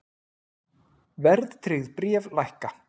Verðtryggð bréf lækka